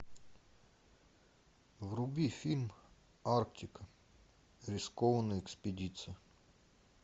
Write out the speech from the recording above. вруби фильм арктика рискованная экспедиция